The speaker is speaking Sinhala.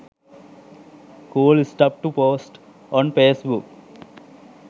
cool stuff to post on facebook